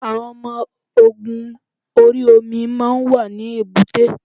Àwọn ọmọ ogun orí omi máa ń wà ní èbúté.